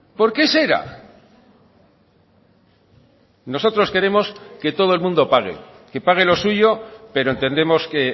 por qué será nosotros queremos que todo el mundo pague que pague lo suyo pero entendemos que